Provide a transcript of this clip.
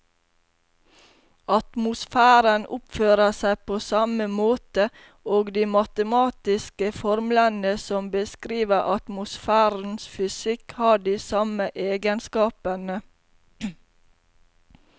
Atmosfæren oppfører seg på samme måte, og de matematiske formlene som beskriver atmosfærens fysikk har de samme egenskapene.